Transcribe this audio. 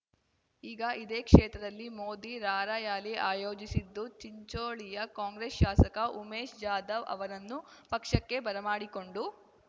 ಈಗ ಇದೇ ಕ್ಷೇತ್ರದಲ್ಲಿ ಮೋದಿ ರಾರ‍ಯಲಿ ಆಯೋಜಿಸಿದ್ದು ಚಿಂಚೋಳಿಯ ಕಾಂಗ್ರೆಸ್‌ ಶಾಸಕ ಉಮೇಶ್‌ ಜಾಧವ್‌ ಅವರನ್ನು ಪಕ್ಷಕ್ಕೆ ಬರಮಾಡಿಕೊಂಡು